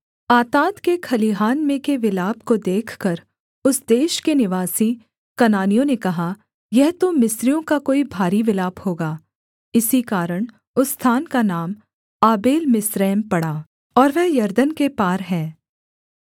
आताद के खलिहान में के विलाप को देखकर उस देश के निवासी कनानियों ने कहा यह तो मिस्रियों का कोई भारी विलाप होगा इसी कारण उस स्थान का नाम आबेलमिस्रैम पड़ा और वह यरदन के पार है